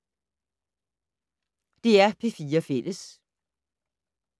DR P4 Fælles